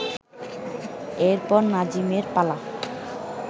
এরপর নাজিমের পালা